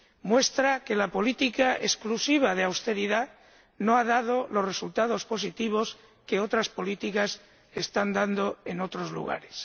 Muestra que la política exclusiva de austeridad no ha dado los resultados positivos que otras políticas están dando en otros lugares.